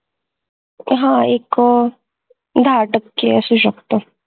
हा एक आह दहा टक्के आशु शकत